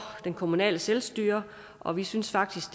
det kommunale selvstyre og vi synes faktisk